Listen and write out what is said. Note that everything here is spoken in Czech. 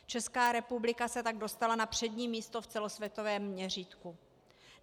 Česká republika se tak dostala na přední místo v celosvětovém měřítku.